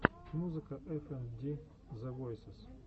музыка эф энд ди зэ войсез